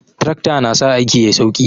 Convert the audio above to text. Trakta na sa aiki yayi sauki